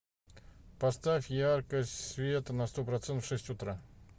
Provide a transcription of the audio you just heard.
поставь яркость света на сто процентов в шесть утра